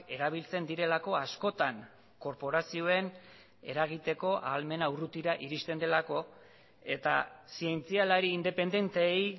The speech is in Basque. erabiltzen direlako askotan korporazioen eragiteko ahalmena urrutira iristen delako eta zientzialari independenteei